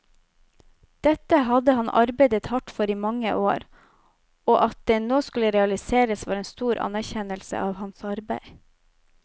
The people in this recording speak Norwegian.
Dette hadde han arbeidet hardt for i mange år, og at det nå skulle realiseres, var en stor anerkjennelse av hans arbeid.